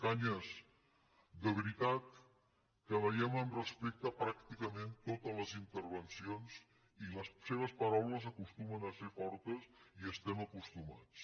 cañas de veritat que veiem amb respecte pràcticament totes les intervencions i les seves paraules acostumen a ser fortes i hi estem acostumats